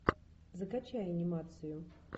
закачай анимацию